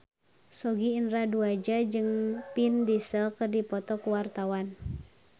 Sogi Indra Duaja jeung Vin Diesel keur dipoto ku wartawan